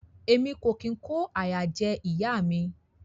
Emi o kin ko àyà jẹ ìyá mi.